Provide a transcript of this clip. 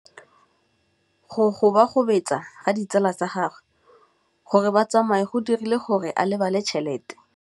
Go gobagobetsa ga ditsala tsa gagwe, gore ba tsamaye go dirile gore a lebale tšhelete.